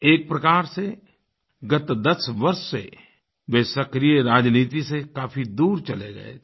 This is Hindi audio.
एक प्रकार से गत् 10 वर्ष से वे सक्रिय राजनीति से काफ़ी दूर चले गए थे